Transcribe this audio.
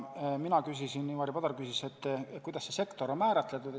Mina küsisin ehk Ivari Padar küsis, kuidas sektor on määratletud.